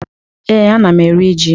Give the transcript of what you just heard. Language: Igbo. Ee, ana m eri ji.